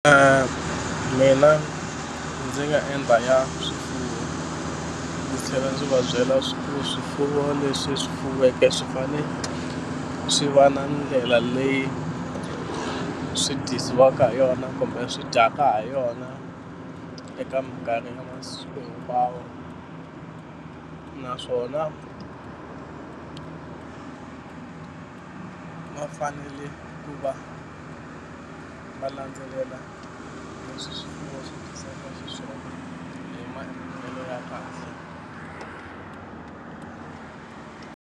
Mina ndzi nga endla ya swifuwo ndzi tlhela ndzi va byela swa ku swifuwo leswi swi fuweke swi fane swi va na ndlela leyi swi dyisiwaka ha yona kumbe swi dyaka ha yona eka mikarhi ya masiku hinkwawo naswona va fanele ku va va landzelela leswi swifuwo swi dyisaka xiswona hi maendlelo ya kahle.